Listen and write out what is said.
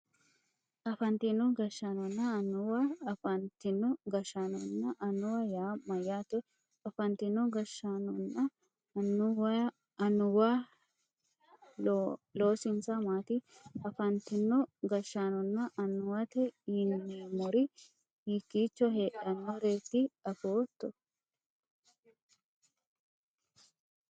Afantino gashshaanonna annuwa afantino gashshaanonna annuwa yaa mayyaate afantino gashshaanonna annuwayhu loosinsa maati afantino gashshaanonna annuwate yineemmori hiikkiicho heedhannoreetiro afootto